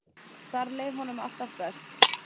Þar leið honum alltaf best.